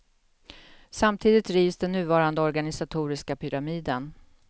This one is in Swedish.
Samtidigt rivs den nuvarande organisatoriska pyramiden.